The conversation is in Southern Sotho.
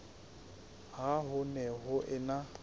ha ho ne ho ena